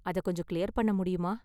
அதை கொஞ்சம் கிளியர் பண்ண முடியுமா?